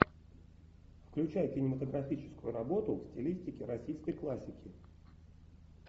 включай кинематографическую работу в стилистике российской классики